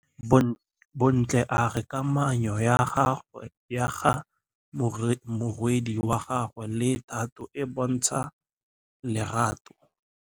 Bontle a re kamanô ya morwadi wa gagwe le Thato e bontsha lerato.